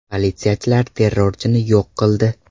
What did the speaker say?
Politsiyachilar terrorchini yo‘q qildi.